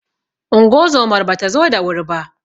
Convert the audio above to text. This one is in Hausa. Ungozomar bata zo da wuri ba.